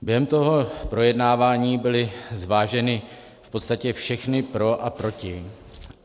Během toho projednávání byly zváženy v podstatě všechna pro a proti.